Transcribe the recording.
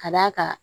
Ka d'a kan